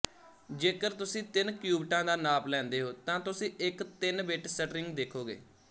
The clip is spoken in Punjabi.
ਜੇਕਰ ਤੁਸੀਂ ਤਿੰਨ ਕਿਉਬਿਟਾਂ ਦਾ ਨਾਪ ਲੈਂਦੇ ਹੋ ਤਾਂ ਤੁਸੀਂ ਇੱਕ ਤਿੰਨਬਿੱਟ ਸਟ੍ਰਿੰਗ ਦੇਖੋਗੇ